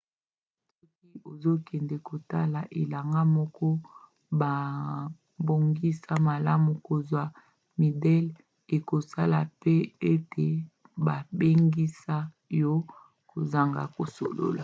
soki ozokende kotala elanga moko babongisa malamu kozwa midele ekosala mpe ete babengana yo kozanga kosolola